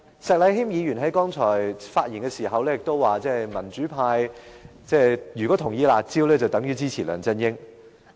石禮謙議員剛才發言時表示，民主派如果支持"辣招"，便等於支持梁振英。